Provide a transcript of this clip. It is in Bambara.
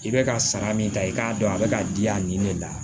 I bɛ ka sara min ta i k'a dɔn a bɛ ka diya nin de la